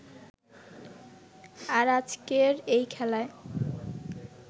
আর আজকের এই খেলাই